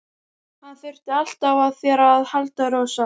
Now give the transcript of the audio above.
Hann þurfti alltaf á þér að halda, Rósa.